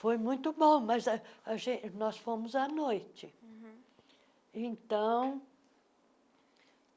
Foi muito bom, mas a a gen nós fomos à noite.